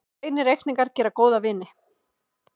Hreinir reikningar gera góða vini.